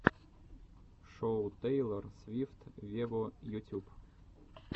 шоу тейлор свифт вево ютюб